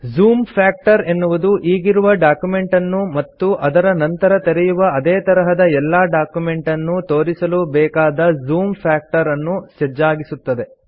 zoom factor ಎನ್ನುವುದು ಈಗಿರುವ document ಅನ್ನು ಮತ್ತು ನಂತರ ತೆರೆಯುವ ಅದೇ ತರಹದ ಎಲ್ಲಾ ಡಾಕ್ಯುಮೆಂಟ್ ಅನ್ನು ತೋರಿಸಲು ಬೇಕಾದ ಜೂಮ್ ಫ್ಯಾಕ್ಟರ್ ಅನ್ನು ಸಜ್ಜಾಗಿಸುತ್ತದೆ